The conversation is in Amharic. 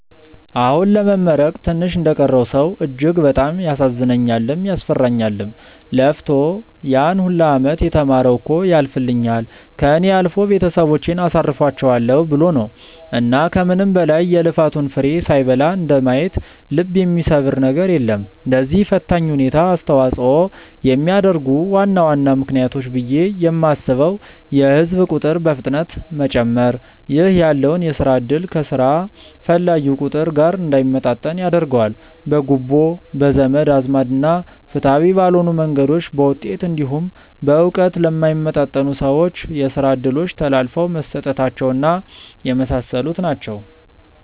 አሁን ለመመረቅ ትንሽ እንደቀረው ሰው እጅግ በጣም ያሳዝነኛልም፤ ያስፈራኛልም። ለፍቶ ያን ሁላ አመት የተማረው እኮ ያልፍልኛል፣ ከእኔ አልፎ ቤተሰቦቼን አሳርፋቸዋለው ብሎ ነው። እና ከምንም በላይ የልፋቱን ፍሬ ሳይበላ እንደማየት ልብ የሚሰብር ነገር የለም። ለዚህ ፈታኝ ሁኔታ አስተዋጽኦ የሚያደርጉ ዋና ዋና ምክንያቶች ብዬ የማስበው የህዝብ ቁጥር በፍጥነት መጨመር ( ይህ ያለውን የስራ እድል ከስራ ፈላጊው ቁጥር ጋር እንዳይመጣጠን ያደርገዋል።) ፣ በጉቦ፣ በዘመድ አዝማድ እና ፍትሃዊ ባልሆኑ መንገዶች በውጤት እንዲሁም በእውቀት ለማይመጥኑ ሰዎች የስራ እድሎች ተላልፈው መሰጠታቸው እና የመሳሰሉት ናቸው።